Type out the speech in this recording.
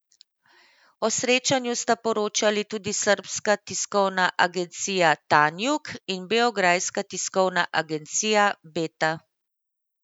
O srečanju sta poročali tudi srbska tiskovna agencija Tanjug in beograjska tiskovna agencija Beta.